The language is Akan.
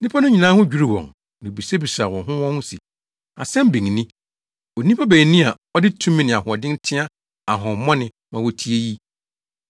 Nnipa no nyinaa ho dwiriw wɔn, na wobisabisaa wɔn ho wɔn ho se, “Asɛm bɛn ni. Onipa bɛn ni a ɔde tumi ne ahoɔden teɛ ahonhommɔne ma wotie yi?”